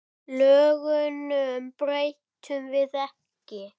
Lögunum breytum við ekki.